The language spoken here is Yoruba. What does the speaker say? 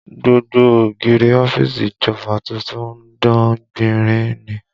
Gbogbo ògiri ọ́fíìsì ìjọba tuntun ń dán gbinrin ni